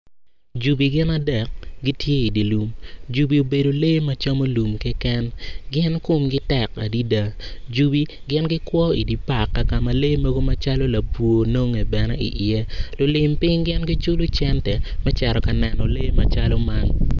Jubi gin adek tye i di lum jubi obedo lee ma camo lum keken gin kumgi tek adida jubi gin gikwo idi pak kakama lee mogo macalo labwo nonge bene iye lulim piny gin giculu cente me ceto ka neno lee macalo man